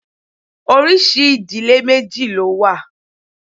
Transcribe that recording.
Oríṣi ìdílé méjì ló wà.